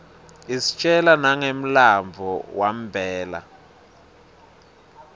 istjela nanqemlanbuo wanbela